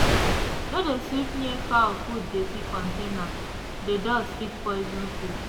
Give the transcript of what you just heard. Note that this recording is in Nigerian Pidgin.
no de sweep near wey fowl food dirty container dey dust fit poison food